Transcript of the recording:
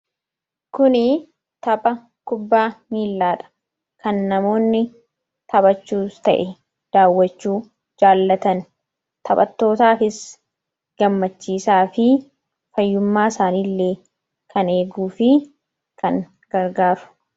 Kun tapha kubbaa miillaadha. kan namoonni taphachuus ta'e daawwachuu jaallatan, taphattootaafis gammachiisaa fi fayyummaa isaanillee kan eeguufi kan gargaaru.